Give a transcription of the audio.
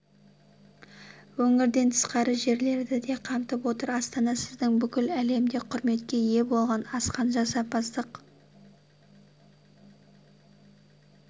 өңірден тысқары жерлерді де қамтып отыр астана сіздің бүкіл әлемде құрметке ие болған асқан жасампаздық